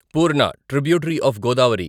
Purna tributary of Godavari